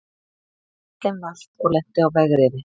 Bíllinn valt og lenti á vegriði